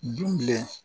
Dunɲɛ